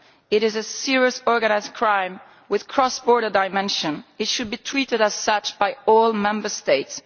This is serious organised crime with a cross border dimension and it should be treated as such by all Member States.